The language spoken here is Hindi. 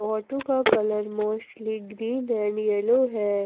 ऑटो का colour mostly green and yellow है।